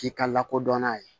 K'i ka lakodɔn n'a ye